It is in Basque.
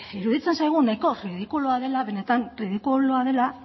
iruditzen zaigu nahiko ridikulua dela benetan ridikulua dela